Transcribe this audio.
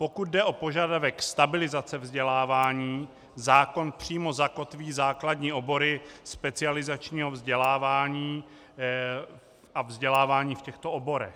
Pokud jde o požadavek stabilizace vzdělávání, zákon přímo zakotví základní obory specializačního vzdělávání a vzdělávání v těchto oborech.